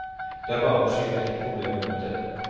Det er bare å skyve et problem under teppet.